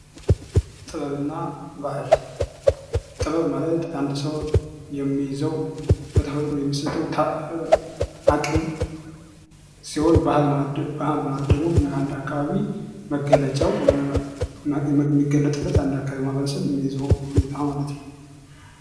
ጥበብና ባህል ጥበብ ማለት አንድ ሰው የሚይዘው በተፈጥሮ የሚሰጠው አቅም ሲሆን ባህል ማለት ደግሞ አንድ አካባቢ መገለጫው የሚገለጥበት የአንድ አካባቢ ማህበረሰብ የሚይዘው ሁኔታ ማለት ነው